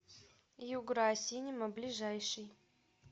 югра синема ближайший